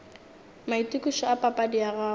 maitokišo a papadi ya gago